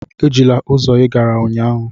Ejila ụzọ ị gara ụnyaahụ!